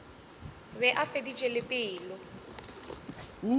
be a feditše le pelo